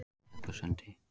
Hellusundi